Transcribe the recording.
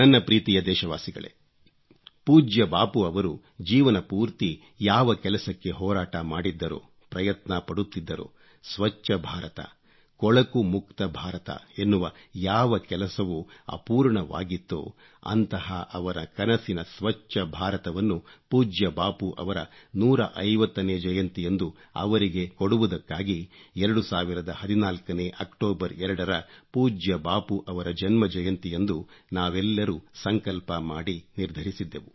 ನನ್ನ ಪ್ರೀತಿಯ ದೇಶವಾಸಿಗಳೇ ಪೂಜ್ಯ ಬಾಪೂರವರು ಜೀವನಪೂರ್ತಿ ಯಾವ ಕೆಲಸಕ್ಕೆ ಹೋರಾಟ ಮಾಡಿದ್ದರೋ ಪ್ರಯತ್ನ ಪಡುತ್ತಿದ್ದರೋ ಸ್ವಚ್ಚಭಾರತ ಕೊಳಕು ಮುಕ್ತ ಭಾರತ ಎನ್ನುವ ಯಾವ ಕೆಲಸವು ಅಪೂರ್ಣವಾಗಿತ್ತೋ ಅಂತಹ ಅವರ ಕನಸಿನ ಸ್ವಚ್ಚ ಭಾರತವನ್ನು ಪೂಜ್ಯ ಬಾಪೂರವರ 150ನೇ ಜಯಂತಿಯಂದು ಅವರಿಗೆ ಕೊಡುವುದಕ್ಕಾಗಿ 2014 ನೇ ಅಕ್ಟೋಬರ್ 2 ರ ಪೂಜ್ಯ ಬಾಪೂರವರ ಜನ್ಮ ಜಯಂತಿಯಂದು ನಾವೆಲ್ಲರೂ ಸಂಕಲ್ಪ ಮಾಡಿ ನಿರ್ಧರಿಸಿದ್ದೆವು